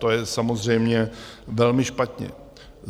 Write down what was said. To je samozřejmě velmi špatně.